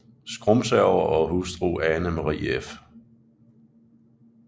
Skrumsager og hustru Ane Marie f